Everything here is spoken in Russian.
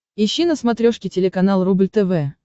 ищи на смотрешке телеканал рубль тв